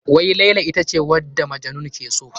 Wai Laila ita ce wanda Majnun ke so?